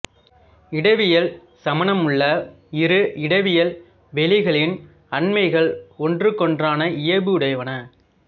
இடவியல் சமானமுள்ள இரு இடவியல் வெளிகளின் அண்மைகள் ஒன்றுக்கொன்றான இயைபுடையன